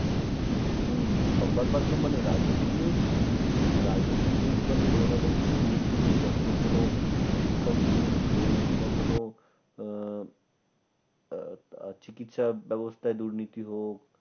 হম সংবাদ মাধ্যম মানে রাজনীতির news রাজনীতি news মানে কোন না কোন দুর্নীতি কখনো কোন শিক্ষক দুর্নীতি হোক বা কোন আহ আহ চিকিৎসা ব্যবস্থায় দুর্নীতি হোক